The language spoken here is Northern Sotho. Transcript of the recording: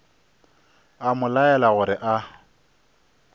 a mo laela gore a